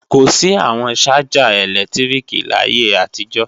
Kò sí àwọn ṣájà ẹ̀lẹ́tíríkì láyé àtijọ́